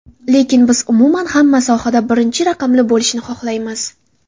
Lekin biz umuman hamma sohada birinchi raqamli bo‘lishni xohlaymiz.